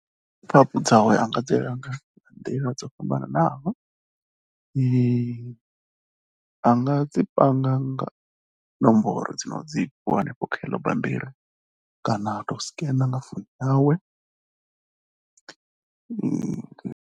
Data dzawe a nga dzi langa nga nḓila dzo fhambanaho a nga dzi panga nga nomboro dzi no dzi fhiwa kha ḽeneḽo bammbiri kana u tou scannaer nga founu yawe.